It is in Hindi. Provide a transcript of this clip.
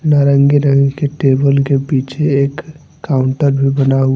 नारंगी रंग की टेबल के पीछे एक काउंटर भी बना हुआ--